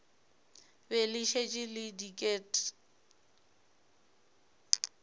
be le šetše le diket